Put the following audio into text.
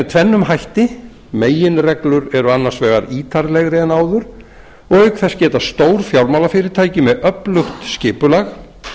tvennum hætti meginreglur eru annars vegar ítarlegri en áður og auk þess geta stór fjármálafyrirtæki með öflugt skipulag